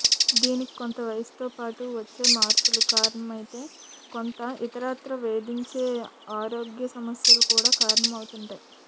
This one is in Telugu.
దీనికి కొంత వయసుతో పాటు వచ్చే మార్పులు కారణమైతే కొంత ఇతరత్రా వేధించే ఆరోగ్య సమస్యలు కూడా కారణమవుతుంటాయి